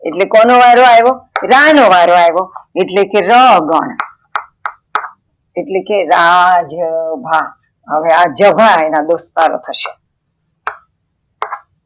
એટલે કોનો વાર્યો રા નો વારો આવ્યો એટલે ર ગણ, એટલે રા, જ, ભા હવે આ જ, ભા અન દોસ્તારો થશે.